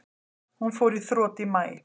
Hún fór í þrot í maí.